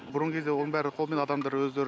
бұрынғы кезде оның бәрі қолмен адамдар өздері